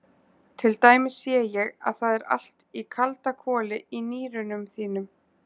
Til dæmis sé ég að það er allt í kaldakoli í nýrunum þínum.